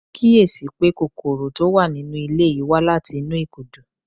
Mo kíyè sí i pé kòkòrò tó wà nínú ilé yìí wá láti inú ìkùdu